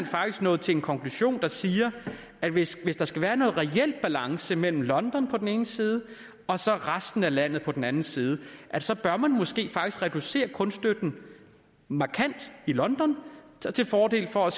faktisk nået til en konklusion der siger at hvis der skal være en reel balance mellem london på den ene side og resten af landet på den anden side så bør man måske faktisk reducere kunststøtten markant i london til fordel for at